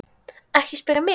Ekki spyrja mig.